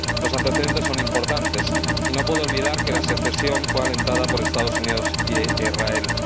Los antecedentes son importantes y no puedo olvidar que la secesión fue alentada por Estados Unidos e Israel.